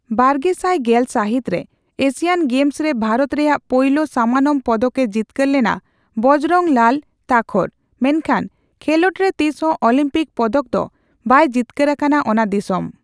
ᱵᱟᱨᱜᱮᱥᱟᱭ ᱜᱮᱞ ᱥᱟᱹᱦᱤᱛᱨᱮ ᱮᱥᱤᱭᱟᱱ ᱜᱮᱢᱥᱨᱮ ᱵᱷᱟᱨᱚᱛ ᱨᱮᱭᱟᱜ ᱯᱳᱭᱞᱳ ᱥᱟᱢᱟᱱᱚᱢ ᱯᱚᱫᱚᱠᱮ ᱡᱤᱛᱠᱟᱹᱨ ᱞᱮᱱᱟ ᱵᱚᱡᱽᱨᱚᱝ ᱞᱟᱞ ᱛᱟᱠᱷᱚᱨ, ᱢᱮᱱᱠᱷᱟᱱ ᱠᱷᱮᱞᱚᱸᱰᱨᱮ ᱛᱤᱥᱦᱚᱸ ᱚᱞᱤᱢᱯᱤᱠ ᱯᱚᱫᱚᱠ ᱫᱚ ᱵᱟᱭ ᱡᱤᱛᱠᱟᱹᱨ ᱟᱠᱟᱱᱟ ᱚᱱᱟ ᱫᱤᱥᱚᱢ ᱾